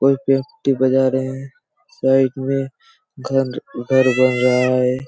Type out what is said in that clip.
एक व्यक्ति बजा रहे हैं साइड में घर घर घर बन रहा हैं ।